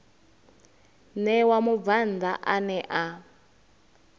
ṋewa mubvann ḓa ane a